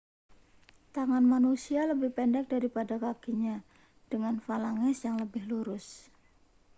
tangan manusia lebih pendek daripada kakinya dengan falanges yang lebih lurus